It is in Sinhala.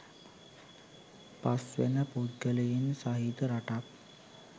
පස් වෙන පුද්ගලයින් සහිත රටක්